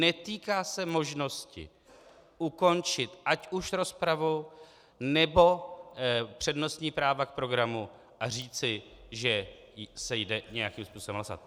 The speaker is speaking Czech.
Netýká se možnosti ukončit ať už rozpravu, nebo přednostní práva k programu a říci, že se jde nějakým způsobem hlasovat.